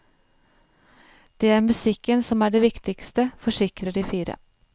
Det er musikken som er det viktigste, forsikrer de fire.